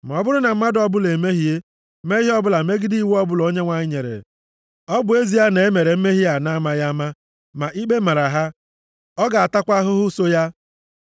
“Ma ọ bụrụ na mmadụ ọbụla emehie, mee ihe ọbụla megidere iwu ọbụla Onyenwe anyị nyere, ọ bụ ezie na e mere mmehie a na-amaghị ama, ma ikpe mara ha, ọ ga-atakwa ahụhụ soo ya.